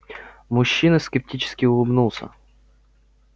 мужчина скептически улыбнулся